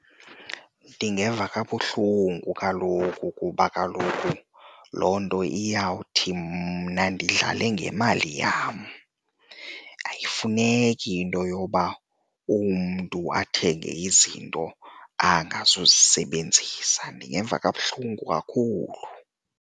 Ndingeva kabuhlungu kaloku kuba kaloku loo nto iyawuthi mna ndidlale ngemali yam, ayifuneki into yoba umntu athenge izinto angazuzisebenzisa. Ndingeva kabuhlungu kakhulu.